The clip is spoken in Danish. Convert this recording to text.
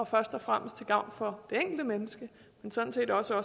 først og fremmest til gavn for det enkelte menneske men sådan set også